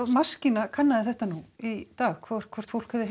maskína kannaði þetta í dag hvort hvort fólk hefði